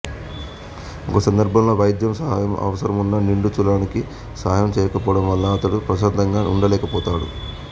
ఒక సందర్భంలో వైద్య సహాయం అవసరమున్న నిండుచూలాలికి సహాయం చేయకపోవడం వలన అతడు ప్రశాంతంగా వుండలేకపోతాడు